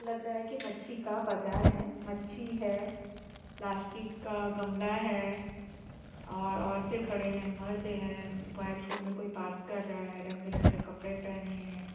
लग रहा है कि मछी का बाजार है मछी है प्लास्टिक का गमला है और औरते खड़े है मर्द है मोबाईल-फोन मे कोई बात कर रहे है रंग-बिरंगे कपड़े पहने है।